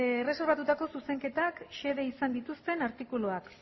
erreserbatutako zuzenketak xede izan dituzten artikuluak